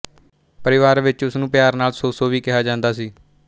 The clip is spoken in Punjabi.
ਪਰਿਵਾਰ ਵਿੱਚ ਉਸ ਨੂੰ ਪਿਆਰ ਨਾਲ ਸੋਸੋ ਵੀ ਕਿਹਾ ਜਾਂਦਾ ਸੀ